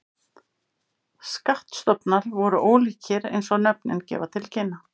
Skattstofnar voru ólíkir eins og nöfnin gefa til kynna.